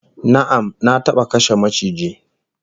Na'am, Na taba kashe maciji